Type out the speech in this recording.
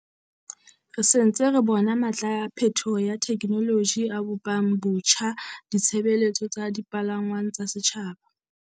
Re se ntse re bona matla a phethoho ya thekenoloji a bopang botjha ditshebeletso tsa dipalangwang tsa setjhaba.